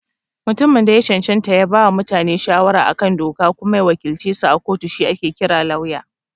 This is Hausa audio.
Mutumin da ya cancanta ya bawa mutane shawara a kan doka kuma ya wakilcesu a kotu shi ake kira Lauya.